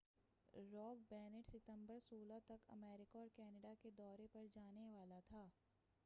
rock band ستمبر 16 تک America اور کینیڈا کے دورے پر جانے والا تھا